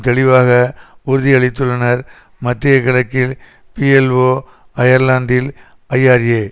தெளிவாக உறுதியளித்துள்ளனர் மத்திய கிழக்கில் பீஎல்ஓ அயர்லாந்தில் ஐஆர்ஏ